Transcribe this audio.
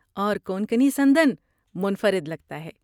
اور کونکنی سندن منفرد لگتا ہے۔